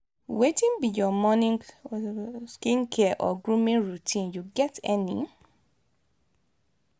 wetin be your morning skincare or grooming routine you get any?